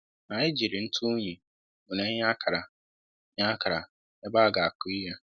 Anyị jírí ntụ unyi wéré nye ákàrà nye ákàrà ebe a ga akụ ihe